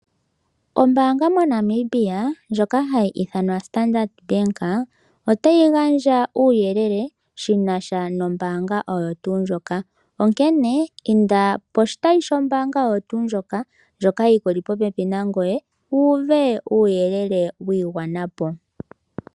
Ombaanga moNamibia ndjoka hayi ithanwa Standard Bank otayi gandja uuyelele shi na sha nombaanga oyo tuu ndjoka, onkene inda poshitayi shombaanga oyo tuu ndjoka, ndjoka yi ku li popepi nangoye wu uve uuyelele wi igwana po.